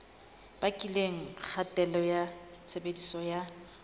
bakileng kgatello ya tshebediso ya